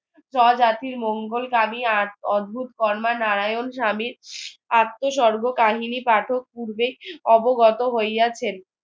স্বজাতির মঙ্গলগামী অদ্ভুত কর্মা নারায়ণ স্বামী আত্মসর্ব কাহিনী পাঠক পূর্বে অবগত হইয়াছেন